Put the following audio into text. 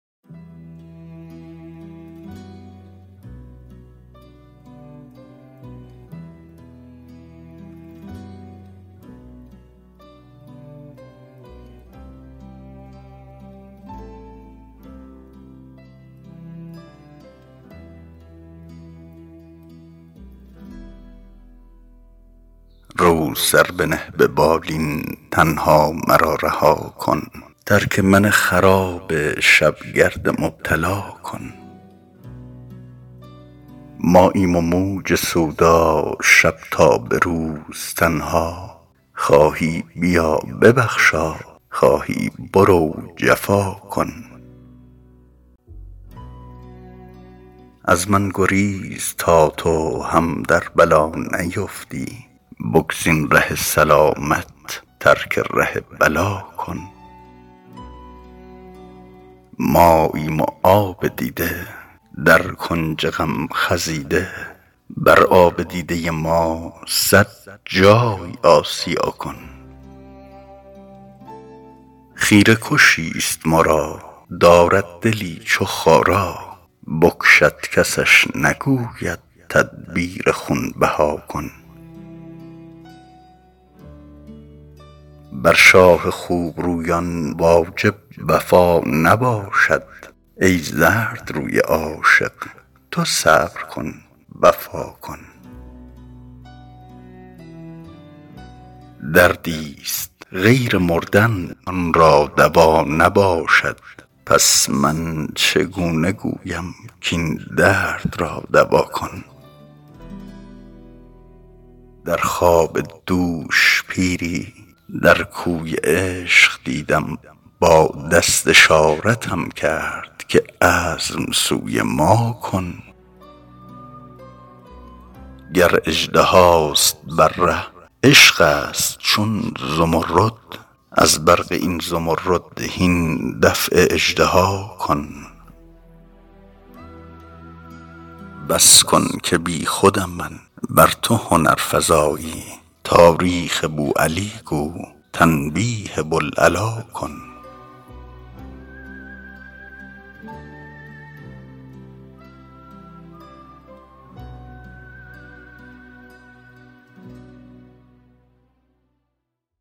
رو سر بنه به بالین تنها مرا رها کن ترک من خراب شب گرد مبتلا کن ماییم و موج سودا شب تا به روز تنها خواهی بیا ببخشا خواهی برو جفا کن از من گریز تا تو هم در بلا نیفتی بگزین ره سلامت ترک ره بلا کن ماییم و آب دیده در کنج غم خزیده بر آب دیده ما صد جای آسیا کن خیره کشی ست ما را دارد دلی چو خارا بکشد کسش نگوید تدبیر خون بها کن بر شاه خوب رویان واجب وفا نباشد ای زردروی عاشق تو صبر کن وفا کن دردی ست غیر مردن آن را دوا نباشد پس من چگونه گویم کاین درد را دوا کن در خواب دوش پیری در کوی عشق دیدم با دست اشارتم کرد که عزم سوی ما کن گر اژدهاست بر ره عشقی ست چون زمرد از برق این زمرد هین دفع اژدها کن بس کن که بی خودم من ور تو هنرفزایی تاریخ بوعلی گو تنبیه بوالعلا کن